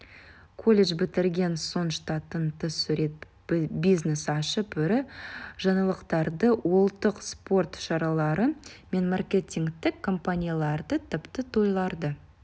колледж бітірген соң штаттан тыс сурет бизнес ашып ірі жаңалықтарды ұлттық спорт шаралары мен маркетингтік компанияларды тіпті тойларды